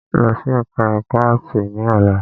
Lọ sí ẹka ẹ̀kọ́ áàtì ní ọ̀la!